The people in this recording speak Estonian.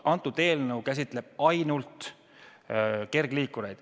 Eelnõu käsitleb ainult kergliikureid.